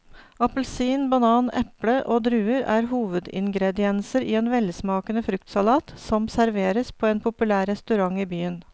Appelsin, banan, eple og druer er hovedingredienser i en velsmakende fruktsalat som serveres på en populær restaurant i byen.